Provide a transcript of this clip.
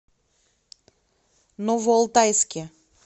новоалтайске